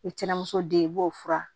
O ye cɛn muso den ye i b'o fura